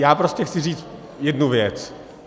Já prostě chci říct jednu věc.